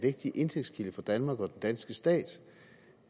vigtig indtægtskilde for danmark og den danske stat